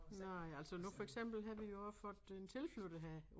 Nej altså nu for eksempel havde vi jo også fået en tilflytter her